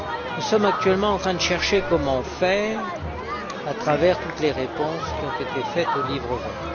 Nous sommes actuellement en train de chercher comment faire à travers toutes les réponses qui ont été apportées au livre vert.